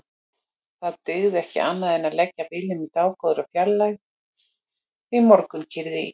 Það dygði ekki annað en leggja bílnum í dágóðri fjarlægð því morgunkyrrð í